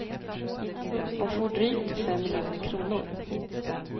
Hon får drygt fem miljoner kronor.